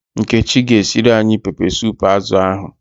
Nkechi g'esiri anyi pepe sup azu ahu